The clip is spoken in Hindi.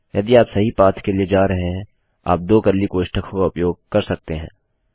यदि आप सही पाथ के लिए जा रहे हैं आप दो कर्ली कोष्ठकों का उपयोग कर सकते हैं